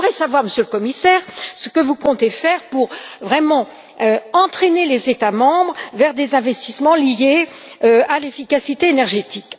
J'aimerais donc savoir, Monsieur le Commissaire, ce que vous comptez faire pour réellement entraîner les États membres vers des investissements liés à l'efficacité énergétique.